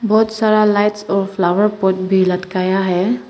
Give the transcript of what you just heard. बहुत सारा लाइट्स और फ्लावर पोट भी लटकाया है।